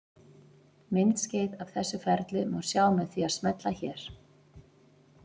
Myndskeið af þessu ferli má sjá með því að smella hér.